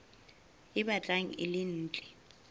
e batlang e le ntle